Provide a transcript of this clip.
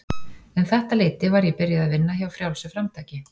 Um þetta leyti var ég byrjuð að vinna hjá Frjálsu framtaki.